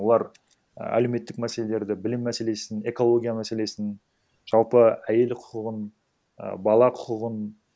олар ііі әлеуметтік мәселелерді білім мәселесін экология мәселесін жалпы әйел құқығын і бала құқығын